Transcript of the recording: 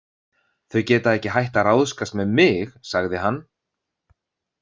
Þau geta ekki hætt að ráðskast með mig, sagði hann.